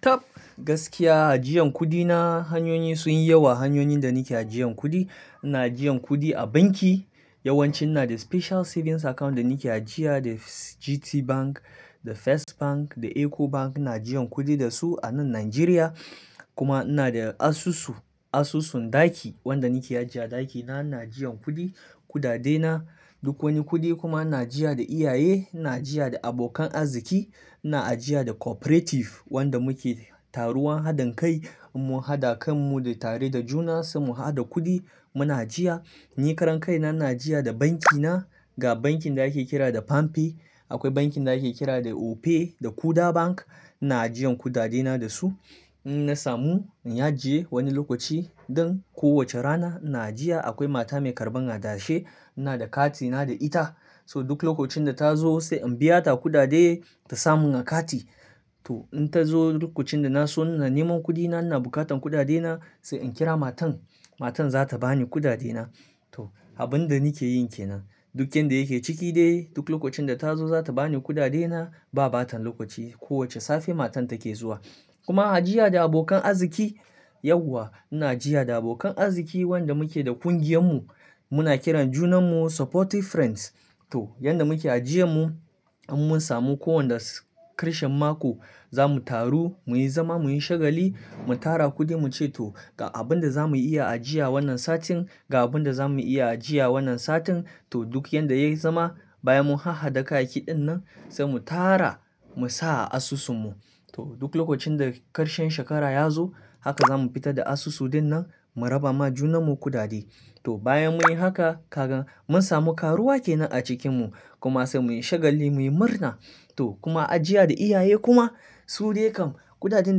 Top gaskiya ajiyan kudi na hanyoyi sun yi yawa hanyoyin da nake ajiyan kudi. Na ajiyan kudi a banki yawanci ina da special savings account da nake ajiya da GTBank, da First Bank, da EcoBank na ajiyan kudi da su a nan Najeriya. Kuma ina da asusu, asusun ɗaki wanda nake ajiya ɗakina, na ajiyan kudi, kudade na, duk wani kudi kuma na ajiya da iyaye, na ajiya da abokan arziki, na ajiya da cooperative wanda muke taruwan hadin kai mun hada kan mu da tare da juna sai mu haɗa kudi muna ajiya. Ni karan kai na, na ajiya da banki na ga bankin da yake kira da Pampe, akwai bankin da yake kira da Opay, da Kuda Bank na ajiyan kudade na da su. In na samu, in ya ajiye wani lokaci don ko wace rana na ajiya. Akwai mata mai karɓan hadashi ina da kati na da ita, so duk lokacin da ta zo sai in biya ta kudade ta samu na kati. To in ta zo lokacin da na so na nemo kudi na, ina bukatan kudade na, sai in kira matan, matan za ta bani kudade na. To abun da nake yin ke nan. Duk inda yake ciki dai duk lokacin da ta zo za ta bani kudade na, ba bata lokaci, kowace safe matan take zuwa. Kuma ajiya da abokan arziki, yauwa na ajiya da abokan arziki wanda muke da ƙungiyan mu, muna kiran junan mu supportive friends. To, yanda muke ajiye mu in mun samu ko wanda ƙarshen mako za mu taru muyi zama, muyi shagali, mu tara kudi muce to ga abun da za muyi iya ajiya wannan satin, ga abun da za muyi iya ajiya wannan satin. To duk yanda yayi zama bayan mun ha hada kayayyaki ɗin nan sai mu tara mu sa a asusun mu. To duk lokacin da ƙarshen shekara ya zo haka za mu fita da asusu ɗin nan mu raba ma junan mu kudade. To bayan muyi haka kagan mun samu karuwa ke nan a cikin mu kuma sai muyi shagali muyi murna. To kuma ajiya da iyaye kuma su dai kam kudaden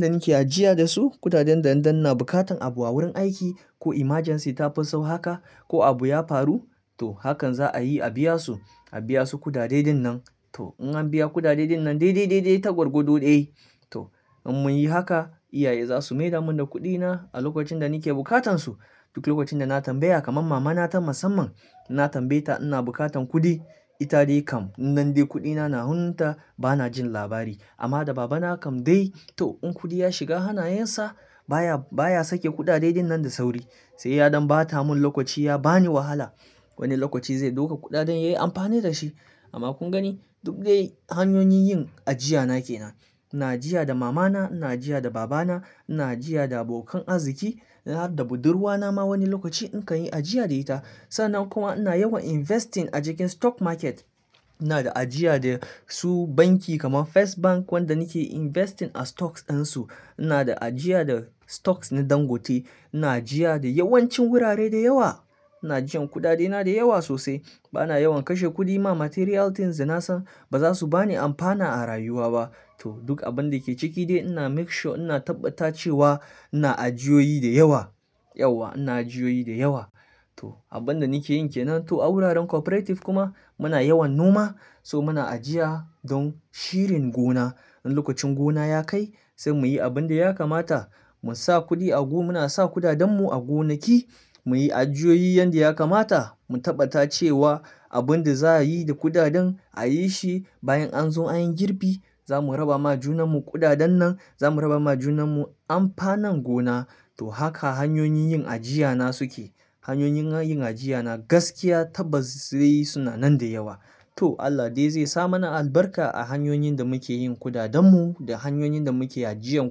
da nake ajiya da su, kudaden dan dan na bukatan abu a wurin aiki, ko emergency ta fi sau haka, ko abu ya faru to hakan za a yi a biya su, a biya su kudade ɗin nan. To in an biya kudade ɗin nan dai dai dai dai ta gwargwado ɗaya. To in mun yi haka, iyaye za su maida mun da kuɗi na a lokacin da nake bukatan su. Duk lokacin da na tambaya kaman mama na ta musamman, na tambaye ta ina bukatan kuɗi, ita dai kam in nan dai kuɗi na na huntar bana jin labari. Amma da baba na kam dai to in kuɗi ya shiga hanayen sa baya, baya sake kudade ɗin nan da sauri. Sai yaɗon bata mun lokaci ya bani wahala, wani lokaci zai ɗauka kuɗaɗen yayi amfani da shi. Amma kun gani duk dai hanyoyin yin ajiya na ke nan. Na ajiya da mama na, na ajiya da baba na, na ajiya da abokan arziki, da budurwa na ma wani lokaci in kan yi ajiya da ita. Sa nan kuma ina yawan investing a cikin stock market. Ina da ajiya da su banki kaman First Bank wanda nake investing a stocks ɗansu. Ina da ajiya da stocks na Dangote. Na ajiya da yawancin wurare da yawa. Na ajiyan kudade na da yawa sosai. Bana yawan kashe kuɗi ma material things da na san ba za su bani amfana a rayuwa ba. To duk abun da ke ciki dai ina make sure ina tabbata cewa ina ajiyoyi da yawa, yauwa ina ajiyoyi da yawa. To abun da nake yin ke nan. To a wuraren cooperative kuma muna yawan noma so muna ajiya don shirin gona. In lokacin gona ya kai sai muyi abun da ya kamata. Mun sa kuɗi a go, muna sa kuɗaɗen mu a gonaki, muyi ajiyoyi yanda ya kamata, mu tabbata cewa abun da za a yi da kuɗaɗen a yi shi bayan an zo anyi girbi za mu raba ma junan mu kuɗaɗen nan, za mu raba ma junan mu amfanin gona. To haka hanyoyin yin ajiya na suke. Hanyoyin yin ajiya na gaskiya tabbas dai suna nan da yawa. To Allah dai zai sa mana albarka a hanyoyin da muke yin kuɗaɗen mu da hanyoyin da muke ajiyan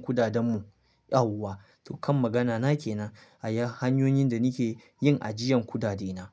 kuɗaɗen mu, yauwa. To kan magana na ke nan a yayin hanyoyin da nake yin ajiyan kudade na.